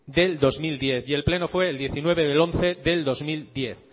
del dos mil diez y el pleno fue el diecinueve del once